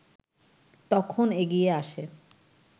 তখন এগিয়ে আসে